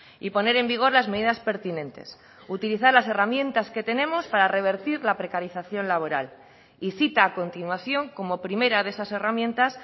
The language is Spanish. y poner en vigor las medidas pertinentes utilizar las herramientas que tenemos para revertir la precarización laboral y cita a continuación como primera de esas herramientas